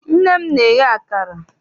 Nne m na-eye akara.